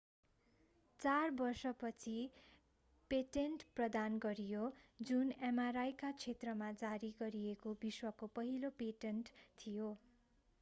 चार वर्षपछि पेटेन्ट प्रदान गरियो जुन mri का क्षेत्रमा जारी गरिएको विश्वको पहिलो पेटेन्ट थियो